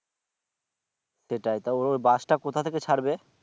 সেটাই তা ওই bus টা কোথা থেকে ছাড়বে?